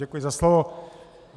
Děkuji za slovo.